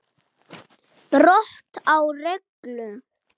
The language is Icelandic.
Brot á reglu.